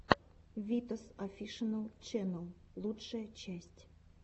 витас офишиал ченнэл лучшая часть